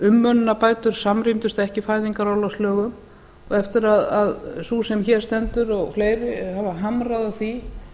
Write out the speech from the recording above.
umönnunarbætur samrýmdust ekki fæðingarorlofslögum eftir að sú sem hér stendur og fleiri hafa hamrað á því